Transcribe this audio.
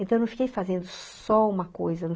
Então eu não fiquei fazendo só uma coisa